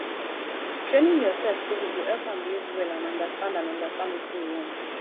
training your pet daily go help am behave well and understand and understand wetin you want